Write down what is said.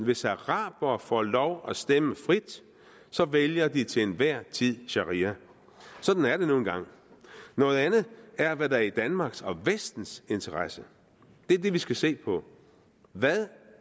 hvis arabere får lov at stemme frit så vælger de til enhver tid sharia sådan er det nu engang noget andet er hvad der er i danmarks og vestens interesse det er det vi skal se på hvad